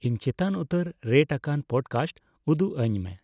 ᱤᱧ ᱪᱮᱛᱟᱱ ᱩᱛᱟᱹᱨ ᱨᱮᱴ ᱟᱠᱟᱱ ᱯᱚᱰᱠᱟᱥᱴ ᱩᱫᱩᱜ ᱟᱧᱢᱮ